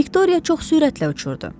Viktoriya çox sürətlə uçurdu.